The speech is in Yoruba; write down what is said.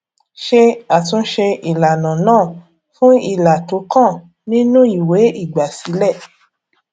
ṣé àtúnṣe ìlànà náà fún ilà tó kàn nínú ìwé ìgbàsílẹ